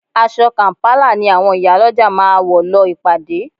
Aṣọ kàm̀pálà ni àwọn ìyálọ́jà máa wọ̀ lọ ìpàdé